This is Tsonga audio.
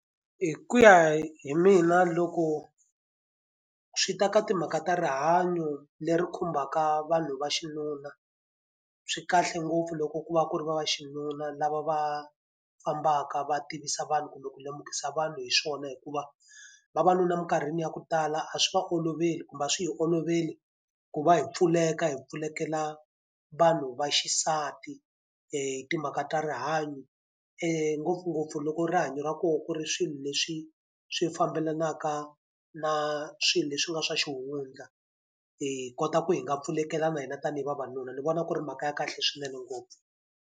Hi ku ya hi mina loko swi ta ka timhaka ta rihanyo leri khumbaka vanhu va xinuna, swi kahle ngopfu loko ku va ku ri va va xinuna lava va fambaka va tivisa vanhu kumbe ku lemukisa vanhu hi swona. Hikuva vavanuna eminkarhini ya ku tala a swi va olovela kumbe a swi hi oloveli ku va hi pfuleka hi pfulekela vanhu vaxisati hi timhaka ta rihanyo. Ngopfungopfu loko rihanyo ra kona ku ri swilo leswi swi fambelanaka na swilo leswi nga swa xihundla hi kota ku hi nga pfulekelana hina tanihi vavanuna. Ni vona ku ri mhaka ya kahle swinene ngopfu.